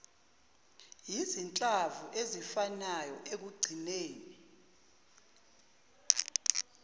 izinhlamvu ezifanayo ekugcineni